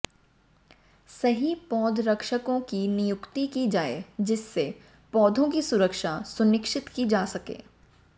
सही पौध रक्षकों की नियुक्ति की जाए जिससे पौधों की सुरक्षा सुनिश्चित की जा सके